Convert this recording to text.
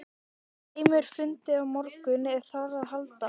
Heimir: Fundið á morgun ef þarf á að halda?